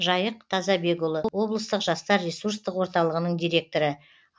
жайық тазабекұлы облыстық жастар ресурстық орталығының директоры